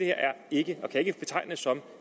ikke og kan ikke betegnes som